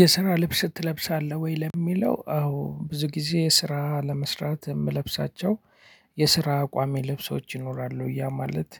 የስራ ልብስ ትለብሳለህ ወይ? ለሚለው አዎ ብዙ ጊዜ ስራ ለመስራት የምለብሳቸው የስራ ቋሚ ልብሶች ይኖራሉ ያ ማለት